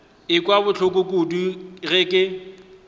ekwa bohloko kudu ge ke